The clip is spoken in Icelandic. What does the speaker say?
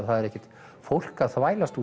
það er ekkert fólk að þvælst